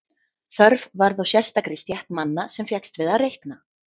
Þörf varð á sérstakri stétt manna sem fékkst við að reikna.